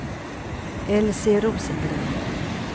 Elsie Rosengren